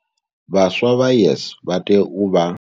Vhaswa vha YES vha tea u vha.